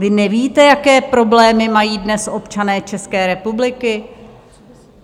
Vy nevíte, jaké problémy mají dnes občané České republiky?